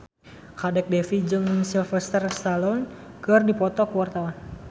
Kadek Devi jeung Sylvester Stallone keur dipoto ku wartawan